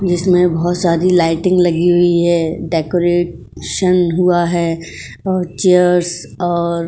जिसमें बोहोत सारी लाइटिंग लगी हुई है। डेकोरेशन हुआ है। चेयर्स और --